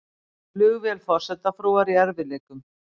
Flugvél forsetafrúar í erfiðleikum